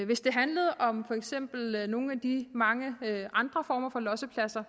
hvis det handlede om for eksempel nogle af de mange andre former for lossepladser